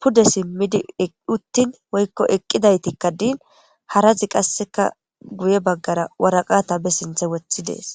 pude simidi uti woyko eqidaytikka din harazika qaseka guye bagara woraqata ba sinten wotidi dees.